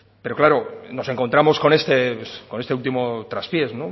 pero claro nos encontramos con este último traspiés